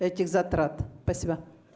этих затрат спасибо